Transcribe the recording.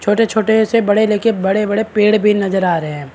छोटे छोटे से बड़े लेके बड़े बड़े पेड़ भी नजर आ रहे हैं।